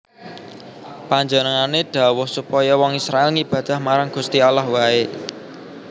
Panjenengané dhawuh supaya wong Israèl ngibadah marang Gusti Allah waé